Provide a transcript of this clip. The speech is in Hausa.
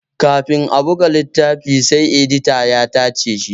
Kafin a buga littafi sai edita ya tace shi